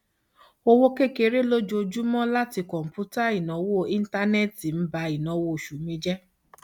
owó kékeré lójoojúmọ látí kọǹpútà ìnáwó íńtánẹẹtì ń ba ìnáwó oṣù mi jẹ